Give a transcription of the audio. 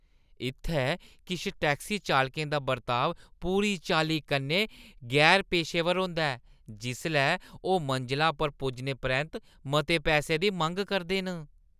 इत्थै किश टैक्सी चालकें दा बर्ताव पूरी चाल्ली कन्नै गैर-पेशेवर होंदा ऐ जिसलै ओह् मंजला पर पुज्जने परैंत्त मते पैहे दी मंग करदे न।